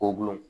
Ko gulon